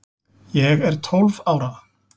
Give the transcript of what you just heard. Ég er tólf ára.